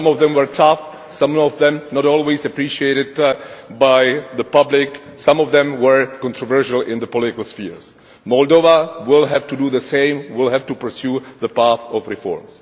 Some of them were tough, some of them not always appreciated by the public, some of them were controversial in the political sphere. Moldova will have to do the same, it will have to pursue the path of reform.